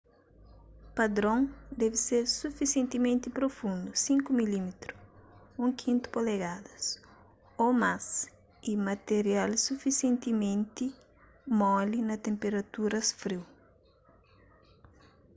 padron debe ser sufisientimenti prufundu 5 mm 1/5 polegadas ô más y matirial sufisientimenti moli na tenperaturas friu